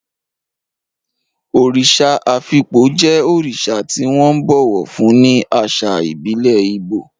Òrìṣà Afikpo jẹ́ òrìṣà tí wọ́n ńbọ̀wọ̀ fún ní àṣà ìbílẹ̀ Igbo.